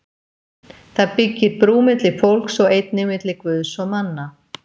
Það byggir brú milli fólks og einnig milli Guðs og manna.